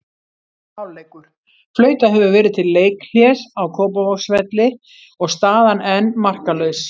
Hálfleikur: Flautað hefur verið til leikhlés á Kópavogsvelli og staðan enn markalaus.